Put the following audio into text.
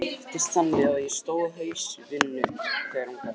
Oftast hittist þannig á að ég stóð á haus í vinnu þegar hún gaf